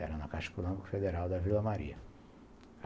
Era na Caixa Econômica Federal da Vila Maria.